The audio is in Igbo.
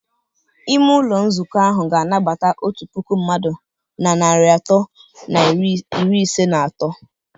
Ime ụlọ nzukọ ahụ ga-anabata otu puku mmadụ na narị atọ na iri ise na atọ.